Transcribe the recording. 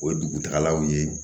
O ye dugutagalaw ye